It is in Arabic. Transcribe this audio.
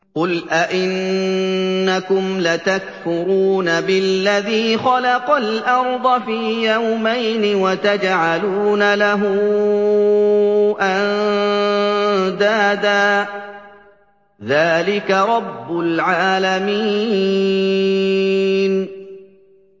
۞ قُلْ أَئِنَّكُمْ لَتَكْفُرُونَ بِالَّذِي خَلَقَ الْأَرْضَ فِي يَوْمَيْنِ وَتَجْعَلُونَ لَهُ أَندَادًا ۚ ذَٰلِكَ رَبُّ الْعَالَمِينَ